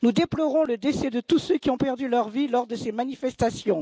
Nous déplorons le décès de tous ceux qui ont perdu leur vie lors de ces manifestations.